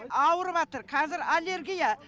ауырыватыр кәзір аллергия